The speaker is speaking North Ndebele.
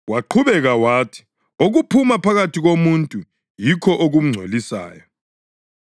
Waqhubeka wathi: “Okuphuma phakathi komuntu yikho okumngcolisayo.